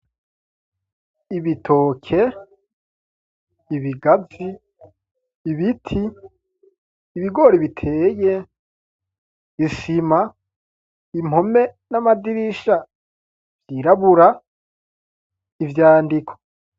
Ibitoke, ibigazi, ibiti ibigore biteye isima impome n'amadirisha vyirabura ivyandiko.